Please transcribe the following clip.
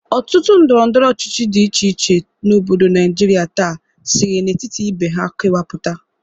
Ọtụtụ ndọrọndọrọ ọchichi dị iche iche n'obodo Naijiria taa siri n'etiti ibe ha kewapụta.